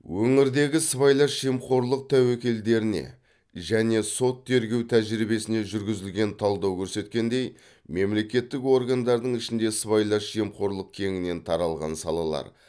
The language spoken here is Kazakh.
өңірдегі сыбайлас жемқорлық тәуекелдеріне және сот тергеу тәжірибесіне жүргізілген талдау көрсеткендей мемлекеттік органдардың ішінде сыбайлас жемқорлық кеңінен таралған салалар